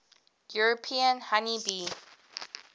european honey bee